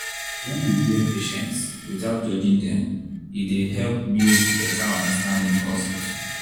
when you hear patients without judging dem e dey help build better understanding for hospital.